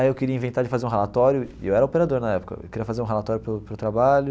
Aí eu queria inventar de fazer um relatório, e eu era operador na época, eu queria fazer um relatório para o para o trabalho.